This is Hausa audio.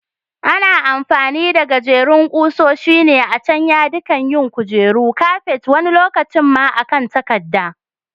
Ana amfani da gajerin ƙusoshi ne a can yadikan yin kujeru, kafet wani lokacin ma a kan takadda.